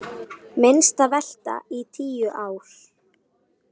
Minnsta velta í tíu ár